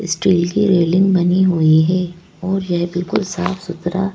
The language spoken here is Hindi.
स्टील की रेलिंग बनी हुई है और यह बिल्कुल साफ सुथरा--